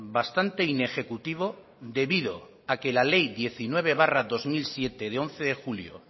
bastante inejecutivo debido a que la ley diecinueve barra dos mil siete de once de julio